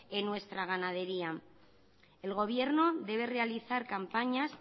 en nuestra ganadería el gobierno debe realizar campañas